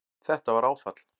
Þetta var áfall